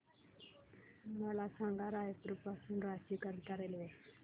मला सांगा रायपुर पासून रांची करीता रेल्वे